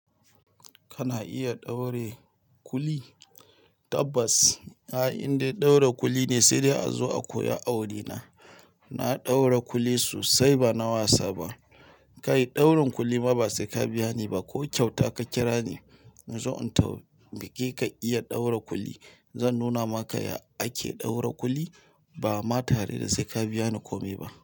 Kana iya ɗaure kuli? Tabbas, si inda in ɗaura kuli ne sai dai a zo a koya awuri na. Na ɗaura kuli sosai ba na wasa ba. Kai daurin kuli ma ba sai ka biya niba ko kyauta ka kirani in zo in tau, ma ke ka iya ɗaura kuli. Zan nuna maka ya ake ɗaura kuli ba ma tare da sai ka biya ni komai ba.